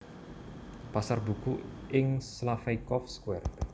Pasar Buku ing Slaveykov Square